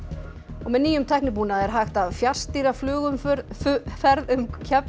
með nýjum tæknibúnaði er hægt að fjarstýra flugumferð flugumferð um